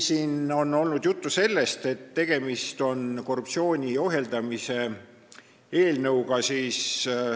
Siin on olnud juttu, et tegemist on korruptsiooni ohjeldamise eelnõuga.